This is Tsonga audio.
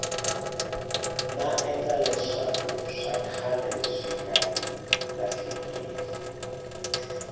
maendla leswakuswa khale swinga hi lahlekeli